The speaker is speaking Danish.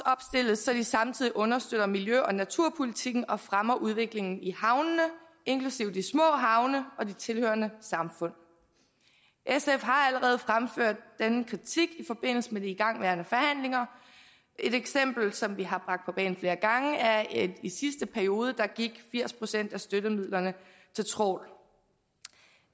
så de samtidig understøtter miljø og naturpolitikken og fremmer udviklingen i havnene inklusive de små havne og de tilhørende samfund sf har allerede fremført denne kritik i forbindelse med de igangværende forhandlinger et eksempel som vi har bragt på bane flere gange er at i sidste periode gik firs procent af støttemidlerne til trawl